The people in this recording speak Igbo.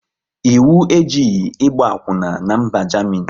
Ịwu ejighị ịgba akwuna n'mba Jamini